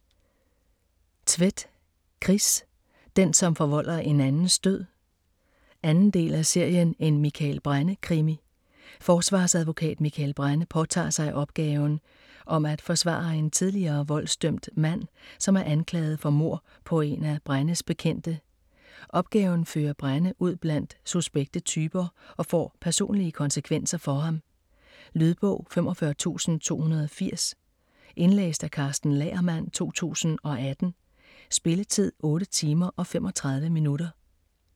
Tvedt, Chris: Den som forvolder en andens død 2. del af serien En Mikael Brenne-krimi. Forsvarsadvokat Mikael Brenne påtager sig opgaven om at forsvare en tidligere voldsdømt mand, som er anklaget for mord på en af Brennes bekendte. Opgaven fører Brenne ud blandt suspekte typer og får personlige konsekvenser for ham. Lydbog 45280 Indlæst af Karsten Lagermann, 2018. Spilletid: 8 timer, 35 minutter.